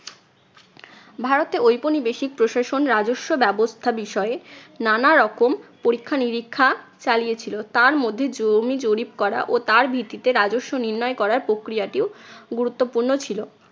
ভারতে ঔপনিবেশিক প্রশাসন রাজস্ব ব্যবস্থা বিষয়ে নানা রকম পরীক্ষা নিরীক্ষা চালিয়েছিল। তার মধ্যে জমি জরিপ করা ও তার ভিত্তিতে রাজস্ব নির্ণয় করার প্রক্রিয়াটিও গুরুত্বপূর্ণ ছিল।